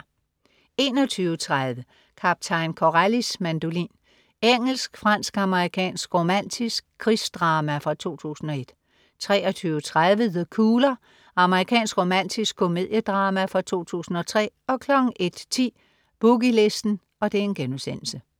21.30 Kaptajn Corellis mandolin. Engelsk-fransk-amerikansk romantisk krigsdrama fra 2001 23.30 The Cooler. Amerikansk romantisk komediedrama fra 2003 01.10 Boogie Listen*